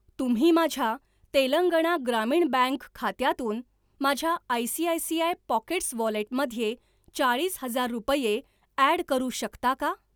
तुम्ही माझ्या तेलंगणा ग्रामीण बँक खात्यातून माझ्या आयसीआयसीआय पॉकेट्स वॉलेटमध्ये चाळीस हजार रुपये ॲड करू शकता का?